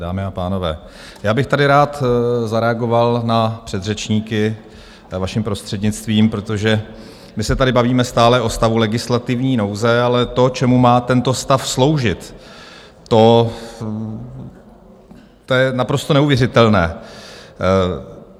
Dámy a pánové, já bych tady rád zareagoval na předřečníky, vaším prostřednictvím, protože my se tady bavíme stále o stavu legislativní nouze, ale to, čemu má tento stav sloužit, to je naprosto neuvěřitelné.